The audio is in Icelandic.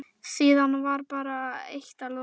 Síðan bara eitt að lokum.